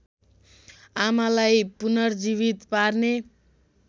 आमालाई पुनर्जीवित पार्ने